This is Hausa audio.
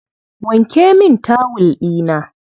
Wanke min tawul ɗina.